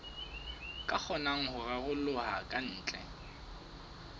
ka kgonang ho raroloha kantle